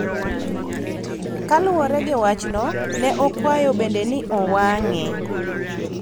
Kaluwore gi wachno, ne okwayo bende ni owang�e